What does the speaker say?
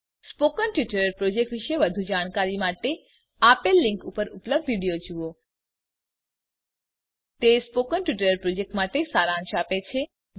spoken tutorial project વિશે વધુ જાણકારી માટે આપેલ લીંક પર ઉપલબ્ધ વિડીયો જુઓ httpspoken tutorialorgWhat is a Spoken Tutorial તે સ્પોકન ટ્યુટોરીયલ પ્રોજેક્ટનો સારાંશ આપે છે